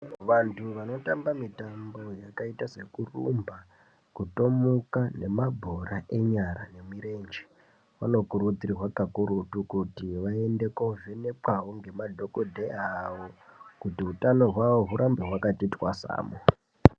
Vantu vanotamba mitambo yakaita sekurumba, kutomuka nemabhora enyara vanokurudzirwa kakurutu kuti vaende kovhenekwawo ngemadhokodheya awo kuti utano hwavo hurambe hwakati twasamu.